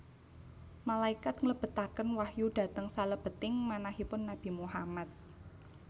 Malaikat nglebetaken wahyu dhateng salebeting manahipun Nabi Muhammad